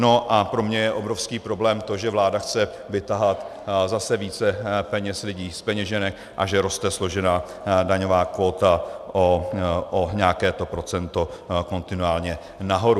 No a pro mě je obrovský problém to, že vláda chce vytahat zase více peněz lidem z peněženek a že roste složená daňová kvóta o nějaké to procento kontinuálně nahoru.